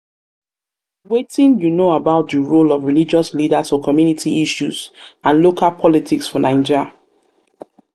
nobody fit make me to put myself for religious services where i no like.